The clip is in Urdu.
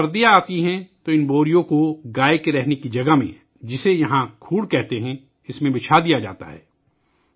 جب سردیاں آتی ہیں تو یہ بوریاں اس جگہ رکھ دی جاتی ہیں ، جہاں گائے رہتی ہے ، جسے یہاں کوڑھ کہتے ہیں